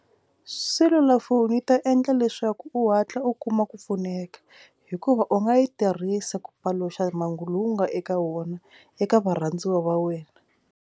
Selulafoni yi ta endla leswaku u hatla u kuma ku pfuneka hikuva u nga yi tirhisa ku paluxa mhangu lowu nga eka wona eka varhandziwa va wena.